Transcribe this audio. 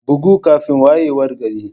Bugu kafin wayewar gari.